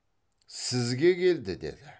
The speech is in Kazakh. сізге келді деді